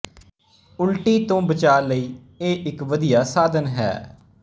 ਉਲਟੀ ਤੋਂ ਬਚਾਅ ਲਈ ਇਹ ਇੱਕ ਵਧੀਆ ਸਾਧਨ ਹੈ